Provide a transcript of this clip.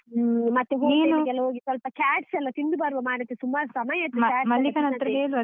ಹ್ಮ್ ಮತ್ತೆ ಹೋಟೆಲಿಗೆಲ್ಲ ಹೋಗಿ ಸ್ವಲ್ಪ chats ಎಲ್ಲ ತಿಂದು ಬರುವ ಮಾರೇತಿ ಸುಮಾರು ಸಮಯ ಆಯ್ತು .